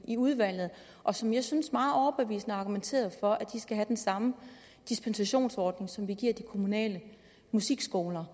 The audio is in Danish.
i udvalget og som jeg synes meget overbevisende argumenterede for at de skal have den samme dispensationsordning som vi giver de kommunale musikskoler